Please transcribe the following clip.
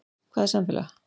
Hvað er samfélag?